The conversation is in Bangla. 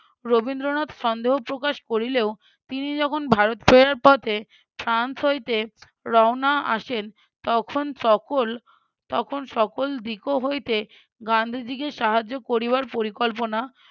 রবীন্দ্রনাথ সন্দেহ প্রকাশ করিলেও তিনি যখন ভারত ফেরার পথে ফ্রান্স হইতে রওনা আসেন তখন সকল তখন সকল দিকও হইতে গান্ধীজীকে সাহায্য করিবার পরিকল্পনা